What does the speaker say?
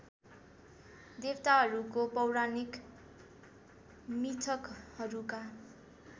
देवताहरूको पौराणिक मिथकहरूका